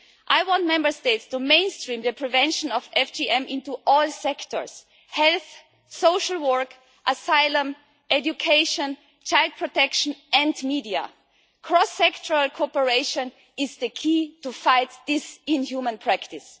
I want Member States to mainstream the prevention of FGM into all sectors health, social work, asylum, education, child protection and media. Cross-sectoral cooperation is the key to fighting this inhuman practice.